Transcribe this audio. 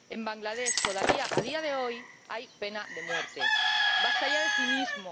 En Bangladés todavía, a día de hoy, hay pena de muerte. ¡Basta ya de cinismo!